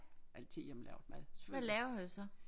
Altid hjemmelavet mad selvfølgelig